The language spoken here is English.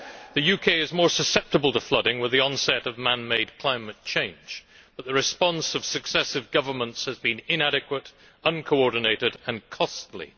The UK is more susceptible to flooding with the onset of man made climate change, but the response of successive governments has been inadequate, uncoordinated and costly.